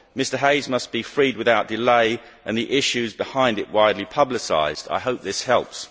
Mr Hayes must be freed without delay and the issues behind it widely publicised. I hope this helps.